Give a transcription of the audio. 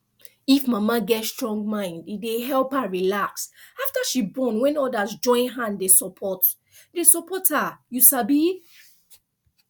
if mama get strong mind e dey help her relax after she born when others join hand dey support dey support her you sabi